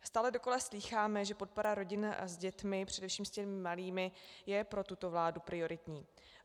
Stále dokola slýcháme, že podpora rodin s dětmi, především s těmi malými, je pro tuto vládu prioritní.